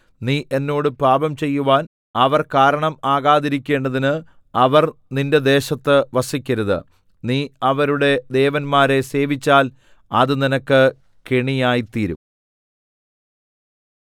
നീ എന്നോട് പാപം ചെയ്യുവാൻ അവർ കാരണം ആകാതിരിക്കേണ്ടതിന് അവർ നിന്റെ ദേശത്ത് വസിക്കരുത് നീ അവരുടെ ദേവന്മാരെ സേവിച്ചാൽ അത് നിനക്ക് കെണിയായി തീരും